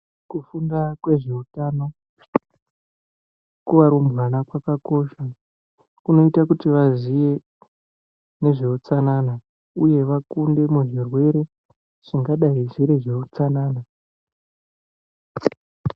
Kufunda kwezveutano kuvarumbwana kwakakosha kunoite kuti vaziye nezveutsanana uye vakunde muzvirwere zvingadai zviri zveutsanana.